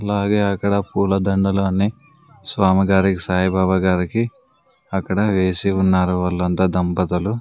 అలాగే అక్కడ పూలదండలన్నీ స్వామి గారికి సాయిబాబా గారికి అక్కడ వేసి ఉన్నారు వాళ్లంతా దంపతులు.